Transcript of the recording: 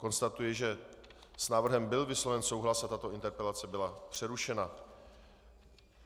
Konstatuji, že s návrhem byl vysloven souhlas a tato interpelace byla přerušena.